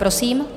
Prosím.